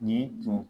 Nin tun